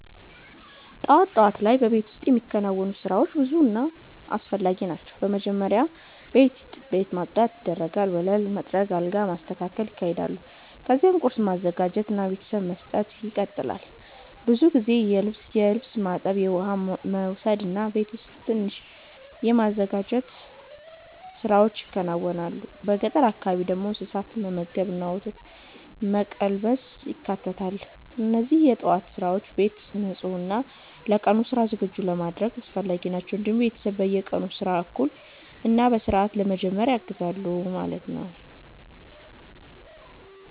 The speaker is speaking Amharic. ጠዋት ጠዋት ላይ በቤት ውስጥ የሚከናወኑ ስራዎች ብዙ እና አስፈላጊ ናቸው። በመጀመሪያ ቤት ማጽዳት ይደረጋል፣ ወለል መጥረግ እና አልጋ መስተካከል ይካሄዳል። ከዚያም ቁርስ ማዘጋጀት እና ለቤተሰብ መስጠት ይቀጥላል። ብዙ ጊዜ የልብስ ማጠብ፣ የውሃ መውሰድ እና ቤት ውስጥ ትንሽ የማዘጋጀት ስራዎች ይከናወናሉ። በገጠር አካባቢ ደግሞ እንስሳትን መመገብ እና ወተት መቀልበስ ይካተታል። እነዚህ የጠዋት ስራዎች ቤትን ንጹህ እና ለቀኑ ስራ ዝግጁ ለማድረግ አስፈላጊ ናቸው። እንዲሁም ቤተሰብ የቀኑን ስራ በእኩል እና በስርዓት ለመጀመር ያግዛሉ።